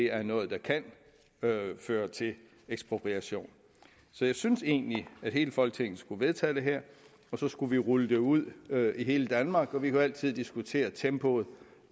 er noget der kan føre til ekspropriation så jeg synes egentlig at hele folketinget skulle vedtage det her og så skulle vi rulle det ud i hele danmark vi kan jo altid diskutere tempoet